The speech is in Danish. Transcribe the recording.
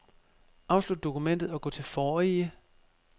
Afslut dokument og gå til forrige.